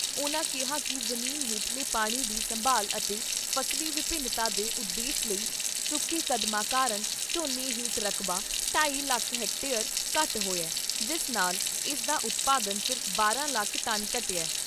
ਉਨ੍ਹਾਂ ਕਿਹਾ ਕਿ ਜ਼ਮੀਨ ਹੇਠਲੇ ਪਾਣੀ ਦੀ ਸੰਭਾਲ ਅਤੇ ਫਸਲੀ ਵਿਭਿੰਨਤਾ ਦੇ ਉਦੇਸ਼ ਲਈ ਚੁੱਕੇ ਕਦਮਾਂ ਕਾਰਨ ਝੋਨੇ ਹੇਠ ਰਕਬਾ ' ਢਾਈ ਲੱਖ ਹੈਕਟੇਅਰ ' ਘੱਟ ਹੋਇਆ, ਜਿਸ ਨਾਲ ਇਸਦਾ ਉਤਪਾਦਨ ਸਿਰਫ਼ ਬਾਰਾਂ ਲੱਖ ਟਨ ਘਟਿਐ।